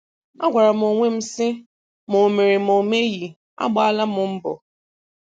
Agwara m onwe m sị ma o mere ma o meghị, agbaala m mbọ".